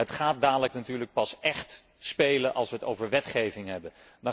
Het gaat dadelijk natuurlijk pas écht spelen als wij het over wetgeving hebben.